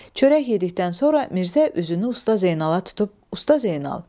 Çörək yedikdən sonra Mirzə üzünü Usta Zeynala tutub: Usta Zeynal!